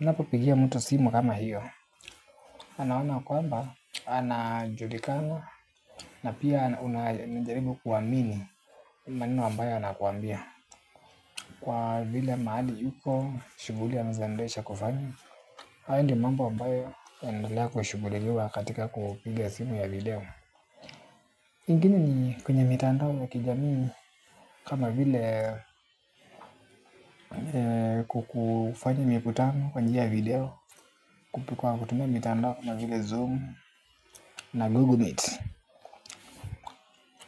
unapopigia mtu simu kama hio anaona kwamba anajulikana. Na pia anajaribu kuamini maneno ambayo anakuambia kwa vile mahali yuko shughuli ya anazoendesha kwani. Hayo ndio mambo ambayo yanaendelea kushughuliwa katika kupiga simu ya video. Ingine ni kwenyeb mitandao ya kijamii. Kama vile kufanya mikutano kwa njia ya video kupigwa kutumia mitandao kama vile zoom na google meet.